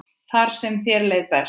Þar sem þér leið best.